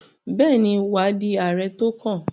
Bẹ́ẹ̀ni, wà á di Ààrẹ tó kàn.